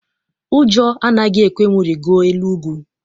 Ụjọ anaghị ekwe m rigoo elu ugwu.